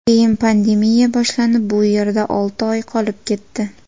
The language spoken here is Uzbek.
Keyin pandemiya boshlanib, bu yerda olti oy qolib ketdi.